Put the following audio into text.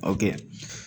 O kɛ